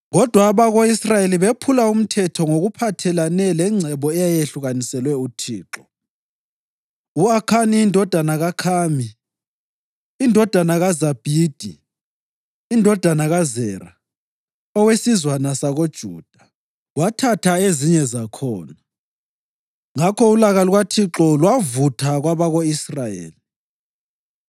Kodwa abako-Israyeli bephula umthetho ngokuphathelane lengcebo eyayehlukaniselwe uThixo; u-Akhani indodana kaKhami, indodana kaZabhidi, indodana kaZera, owesizwana sakoJuda, wathatha ezinye zakhona. Ngakho ulaka lukaThixo lwavutha kwabako-Israyeli.